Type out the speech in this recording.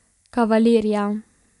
Kavalirja.